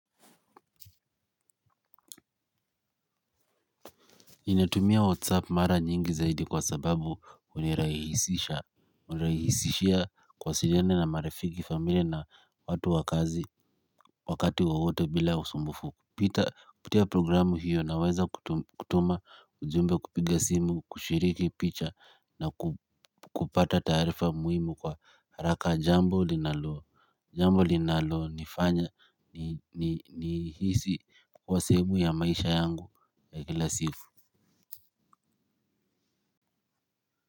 Natumia whatsapp mara nyingi zaidi kwa sababu unirahisisha. Unirahisishia kuwasiliana na marafiki familia na watu wa kazi wakati wowote bila usumbufu kupitia programu hiyo na weza kutuma ujumbe kupiga simu kushiriki picha na kupata tarifa muhimu kwa haraka jambo linaloa jambo linaloa ni fanya ni hisi kwa sehemu ya maisha yangu ya kila siku. Kwa hivyo.